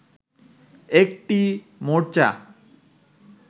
একটি মোর্চা